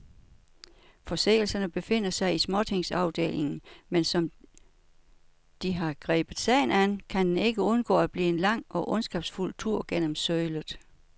Forseelserne befinder sig i småtingsafdelingen, men som de har grebet sagen an, kan den ikke undgå at blive en lang og ondskabsfuld tur gennem sølet.